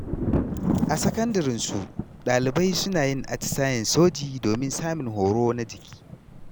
A sakandaren su, ɗalibai suna yin atisayen soji domin samun horo na jiki.